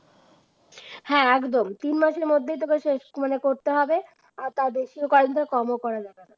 হ্যাঁ একদম তিন মাসের মধ্যে তোদেরকে করতে হবে, তাদেরকে কয়েকদিন কম করা যাবে